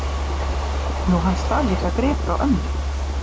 Nú, hann stal líka grip frá ömmu